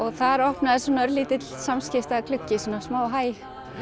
þar opnaðist svona örlítill samskiptagluggi svona smá hæ